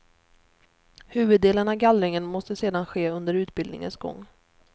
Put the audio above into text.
Huvuddelen av gallringen måste sedan ske under utbildningens gång.